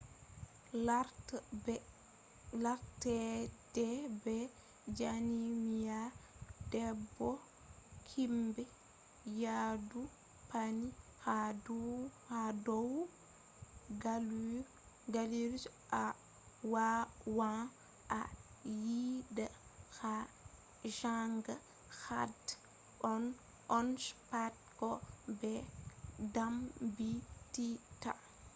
larta der be jami’a bebo himbe yadu panni ha dow gallure je awawan a yida a janga had on je pat ko be dambittita